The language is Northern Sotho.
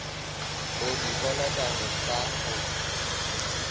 o di kolotago ka go